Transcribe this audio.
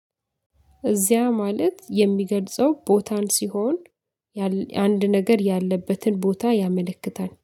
እዚያ ማለት የሚገልጸው ቦታን ሲሆን አንድ ነገር ያለበትን ቦታ ያመለክታል